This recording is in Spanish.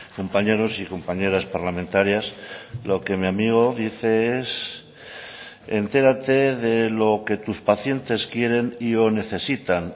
compañeros y compañeras parlamentarias lo que mi amigo dice es entérate de lo que tus pacientes quieren y o necesitan